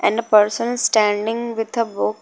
And a person standing with a book.